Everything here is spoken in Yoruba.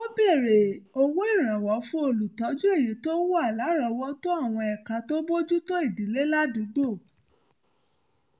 ó wá bèèrè owó ìrànwọ́ fún olùtọ́jú èyí tó wà lárọ̀ọ́wọ́tó àwọn ẹ̀ka tó ń bójú tó ìdílé ládùúgbò